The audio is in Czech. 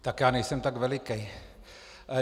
Tak já nejsem tak velikej.